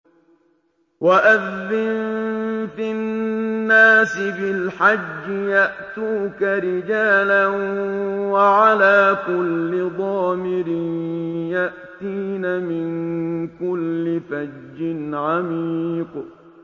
وَأَذِّن فِي النَّاسِ بِالْحَجِّ يَأْتُوكَ رِجَالًا وَعَلَىٰ كُلِّ ضَامِرٍ يَأْتِينَ مِن كُلِّ فَجٍّ عَمِيقٍ